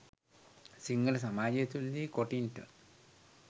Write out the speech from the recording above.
සිංහල සමාජය තුළ දී කොටින්ට